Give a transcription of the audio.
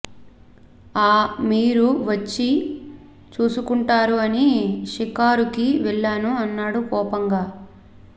ఆ మీరు వచ్చి చూసుకుంటారు అని షికారు కి వెళ్లాను అన్నాడు కోపంగా